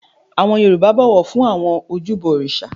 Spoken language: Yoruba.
Àwọn Yorùbá bọ̀wọ̀ fún àwọn ojúbọ òrìṣà